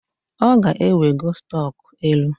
Ọ ga-ewego stọk elu